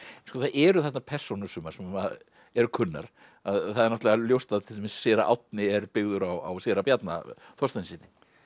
sko það eru þarna persónur sumar sem eru kunnar það er náttúrulega ljóst að séra Árni er byggður á séra Bjarna Þorsteinssyni